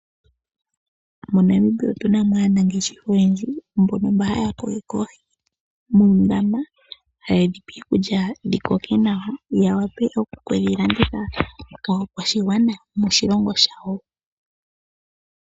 MoNamibia otu na mo aanangeshefa oyendji mbono mba haya kokeke oohi muundama, haye dhi pe iikulya dhi koke nawa dhi wape oku dhi landitha kaakwashigwana yomoshilongo shawo.